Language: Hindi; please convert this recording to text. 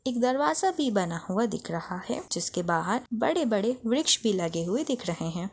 एक दरवाजा भी बना हुआ दिख रहा है जिसके बाहर बड़े-बड़े वृक्ष भी लगे हुए दिख रहे है।